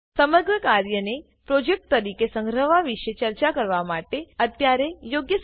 સમગ્ર કાર્યને પ્રોજેક્ટ તરીકે સંગ્રહવા વિશે ચર્ચા કરવા માટે અત્યારે યોગ્ય સમય છે